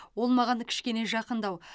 ол маған кішкене жақындау